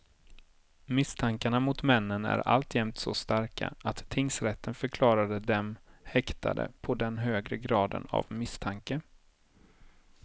Misstankarna mot männen är alltjämt så starka att tingsrätten förklarade dem häktade på den högre graden av misstanke.